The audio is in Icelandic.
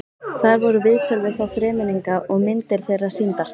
Þar voru viðtöl við þá þremenninga og myndir þeirra sýndar.